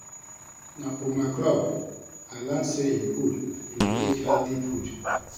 Na for my club I learn say e good to dey eat healthy food